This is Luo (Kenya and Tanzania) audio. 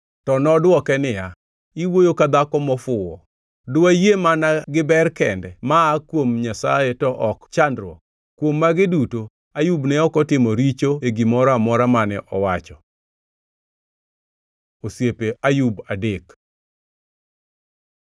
To nodwoke niya, “Iwuoyo ka dhako mofuwo. Diwayie mana gi ber kende ma aa kuom Nyasaye to ok chandruok?” Kuom magi duto, Ayub ne ok otimo richo e gimoro amora mane owacho. Osiepe Ayub adek